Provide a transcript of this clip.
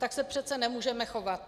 Tak se přece nemůžeme chovat.